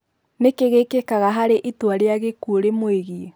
Nĩkĩĩ gĩkĩkaga harĩ itũa rĩa gĩkũo rĩmũĩgĩe?